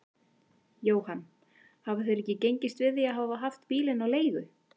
Jóhann: Hafa þeir ekki gengist við því að hafa haft bílinn á leigu?